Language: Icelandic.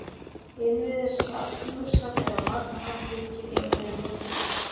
Innviðir Satúrnusar eru á margan hátt líkir innviðum Júpíters.